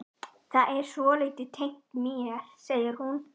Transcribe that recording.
Það er svolítið tengt mér, segir hún.